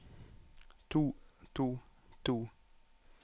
to to to